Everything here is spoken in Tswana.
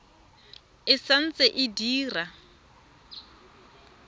e sa ntse e dira